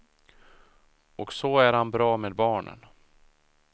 Och så är han bra med barnen.